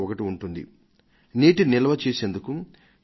వాన నీటిని దాచి ఉంచడానికి భూమి లోపలి భాగంలో తవ్విన గుంటలను